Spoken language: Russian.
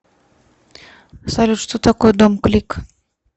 салют что такое домклик